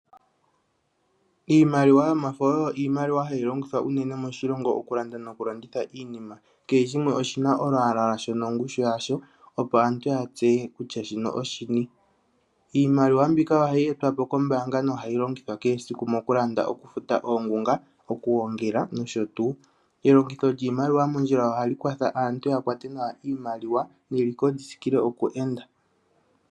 Iimaliwa yomafo oyo iimaliwa hayi longithwa unene moshilongo oku landa noku landitha iinima. Kehe shimwe oshina olwaala lwasho no ngushu yasho opo aantu ya tseye kutya shino oshini. Iimaliwa mbika ohayi etwapo koombaanga no hayi longithwa kehe esiku moku landa, oku futa oongunga, oku gongela nosho tuu. Elongitho lyiimaliwa mondjila ohali kwatha aantu ya kwate nawa iimaliwa lyo eliko li tsikile oku enda.